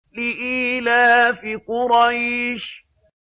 لِإِيلَافِ قُرَيْشٍ